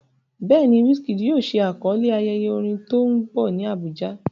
Bẹ́ẹ̀ ni, Wizkid yóò ṣe àkọlé ayẹyẹ orin tó ń bọ̀ ní Abuja.